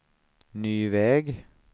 ny väg